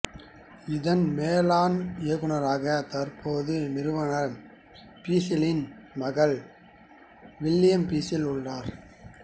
இதன் மேலாண் இயக்குநராக தற்போது நிறுவனர் பிசெலின் மகன் வில்லியம் பிசெல் உள்ளார்